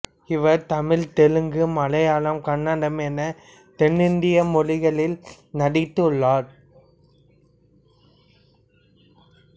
இவர் தமிழ் தெலுங்கு மலையாளம் கன்னடம் என தென்னிந்திய மொழிகளில் நடித்துள்ளார்